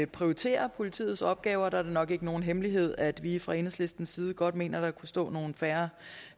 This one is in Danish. prioritere politiets opgaver og der er det nok ikke nogen hemmelighed at vi fra enhedslistens side godt mener der kunne stå nogle færre